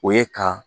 O ye ka